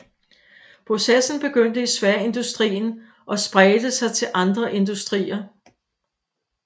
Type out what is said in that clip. Processen begyndte i sværindustrien og spredte sig til andre industrier